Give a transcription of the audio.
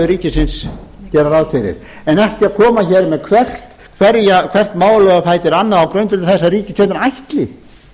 ríkisins gera ráð fyrir en ekki að koma hér með hvert málið á fætur öðru á grundvelli þess að ríkisstjórnin ætli